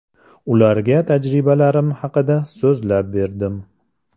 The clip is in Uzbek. Ularga tajribalarim haqida so‘zlab berdim.